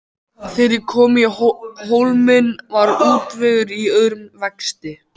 Þegar ég kom í Hólminn var útvegur í örum vexti.